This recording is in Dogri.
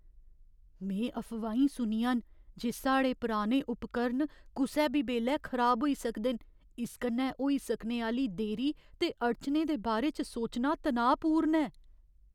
में अफवाहीं सुनियां न जे साढ़े पुराने उपकरण कुसै बी बेल्लै खराब होई सकदे न। इस कन्नै होई सकने आह्‌ली देरी ते अड़चनें दे बारे च सोचना तनाऽपूर्ण ऐ ।